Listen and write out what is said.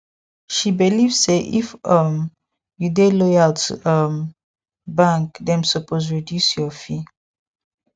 she believe say if um you dey loyal to um bank dem suppose reduce your fee